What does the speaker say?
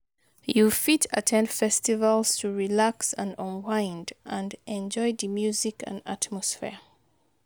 You fit at ten d festivals to relax and unwind, and enjoy di music and atmosphere.